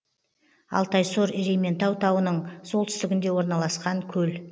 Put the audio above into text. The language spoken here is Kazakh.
алтайсор ерейментау тауының солтүстігінде орналасқан көл